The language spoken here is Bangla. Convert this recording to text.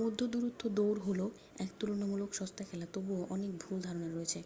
মধ্যদূরত্ব দৌড় হল এক তুলনামূলক সস্তা খেলা তবুও অনেক ভুল ধারণা রয়েছে